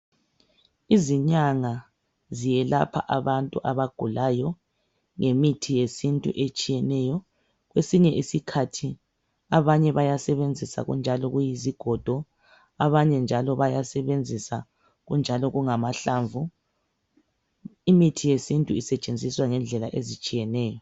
izinyanga ziyelapha abantu abagulayo ngemithi yesintu etshiyeneyo kwesinye isikhathi abanye bayasebenzisa kunjalo kuyizigodo abanye njalo bayasebenzisa kunjalo kungamahlamvu imithi yesintu isetshenziswa ngendlela ezitshiyeneyo